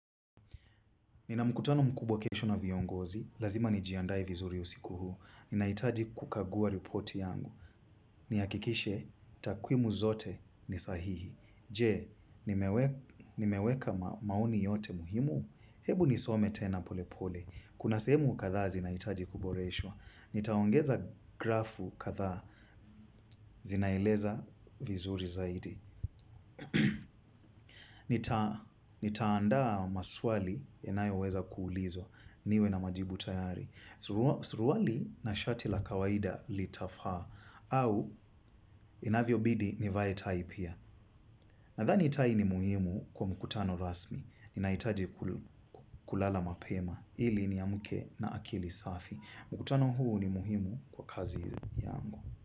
Nina mkutano mkubwa kesho na viongozi, lazima nijiandae vizuri usiku huu. Ninahitaji kukagua ripoti yangu. Nihakikishe, takwimu zote ni sahihi. Je, nimeweka maoni yote muhimu, ebu nisome tena pole pole. Kuna sehemu kadhaa zinahitaji kuboreshwa. Nitaongeza grafu kadhaa, zinaeleza vizuri zaidi. Nitaandaa maswali yanayo weza kuulizwa niwe na majibu tayari. Suruali na shati la kawaida litafaa. Au inavyobidi nivae tai pia. Nathani tai ni muhimu kwa mkutano rasmi. Ninahitaje kulala mapema ili niamke na akili safi. Mkutano huu ni muhimu kwa kazi yangu.